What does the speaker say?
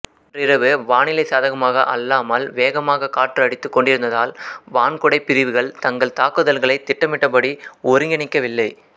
அன்றிரவு வானிலை சாதகமாக அல்லாமல் வேகமான காற்றடித்துக் கொண்டிருந்ததால் வான்குடைப் படைப்பிரிவுகள் தங்கள் தாக்குதல்களைத் திட்டமிட்டபடி ஒருங்கிணைக்கவில்லை